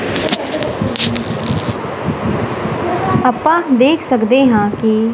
ਆਪਾਂ ਦੇਖ ਸਕਦੇ ਹਾਂ ਕਿ।